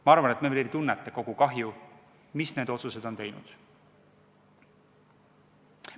Ma arvan, et me veel ei tunneta kogu kahju, mida need otsused on teinud.